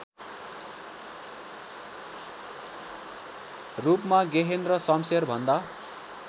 रूपमा गेहेन्द्र शमशेरभन्दा